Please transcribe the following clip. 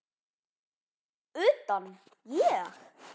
Utan, ég?